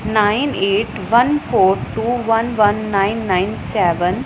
Nine eight one four two one one nine nine seven.